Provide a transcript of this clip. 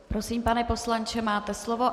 Prosím, pane poslanče, máte slovo.